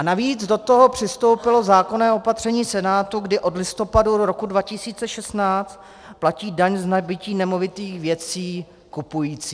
A navíc do toho přistoupilo zákonné opatření Senátu, kdy od listopadu roku 2016 platí daň z nabytí nemovitých věcí kupující.